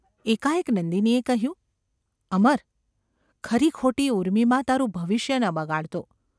એકાએક નંદિનીએ કહ્યું : ‘અમર ! ખરીખોટી ઊર્મિમાં તારું ભવિષ્ય ન બગાડતો.